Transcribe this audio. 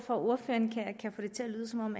ordføreren kan få det til at lyde som om